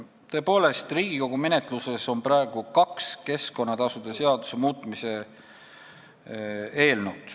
Tõepoolest, Riigikogu menetluses on praegu kaks keskkonnatasude seaduse muutmise eelnõu.